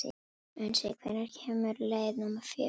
Unnsi, hvenær kemur leið númer fjögur?